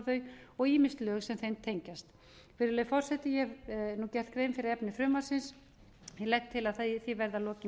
þau og ýmis lög sem þeim tengjast virðulegi forseti ég hef nú gert grein fyrir efni frumvarpinu ég legg til að því verði að lokinni